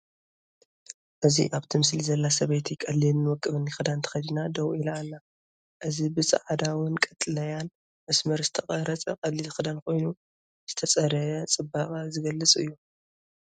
እዚ ኣብቲ ምስሊ ዘላ ሰበይቲ ቀሊልን ውቁብን ክዳን ተኸዲና ደው ኢላ ኣላ። እዚ ብጻዕዳውን ቀጠልያን መስመር ዝተቖርጸ ቀሊል ክዳን ኮይኑ፡ ዝተጸረየ ጽባቐ ዝገልፅ እዩ።